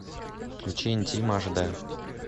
включи интим аш дэ